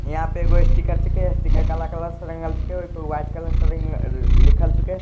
यहाँ पे एगो स्टीकर छिके स्टिकर काला कलर से रंगल छिके ओय पर व्हाइट कलर से रिंग लिखल छिके।